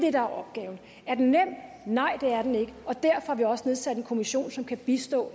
er opgaven er den nem nej det er den ikke og derfor har vi også nedsat en kommission som kan bistå